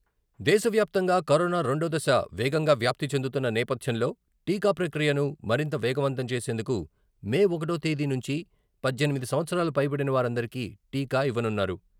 దేశవ్యాప్తంగా కరోనా రెండో దశ వేగంగా వ్యాప్తి చెందుతున్న నేపథ్యంలో టీకా ప్రక్రియను మరింత వేగవంతం చేసేందుకు మే ఒకటో తేదీ నుంచి పద్దెనిమిది సంవత్సరాలు పైబడిన వారందరికీ టీకా ఇవ్వనున్నారు.